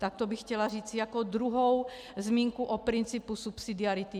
Tak to bych chtěla říci jako druhou zmínku o principu subsidiarity.